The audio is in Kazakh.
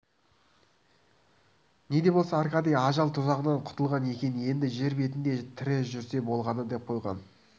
неде болса аркадий ажал тұзағынан құтылған екен енді жер бетінде тірі жүрсе болғаны деп қойған